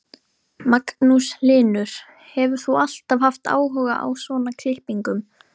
Magnús Hlynur: Hefur þú alltaf haft áhuga á svona klippingum?